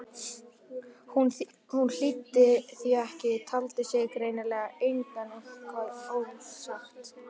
Hún hlýddi því ekki, taldi sig greinilega eiga eitthvað ósagt.